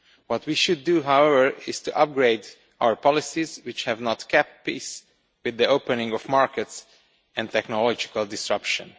What we should do, however, is to upgrade our policies, which have not kept pace with the opening of markets and technological disruption.